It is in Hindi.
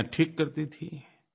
ग़लतियाँ ठीक करती थी